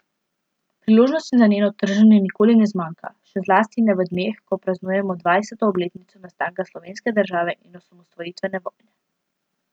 Priložnosti za njeno trženje nikoli ne zmanjka, še zlasti ne v dneh, ko praznujemo dvajseto obletnico nastanka slovenske države in osamosvojitvene vojne.